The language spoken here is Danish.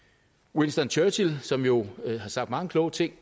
winston churchill som jo har sagt mange kloge ting